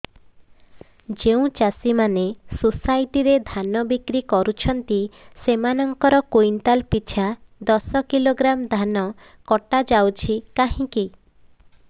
ଯେଉଁ ଚାଷୀ ମାନେ ସୋସାଇଟି ରେ ଧାନ ବିକ୍ରି କରୁଛନ୍ତି ସେମାନଙ୍କର କୁଇଣ୍ଟାଲ ପିଛା ଦଶ କିଲୋଗ୍ରାମ ଧାନ କଟା ଯାଉଛି କାହିଁକି